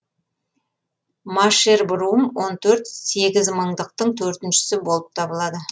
машербрум он төрт сегізмыңдықтың төртіншісі болып табылады